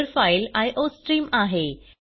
header file iostream आहे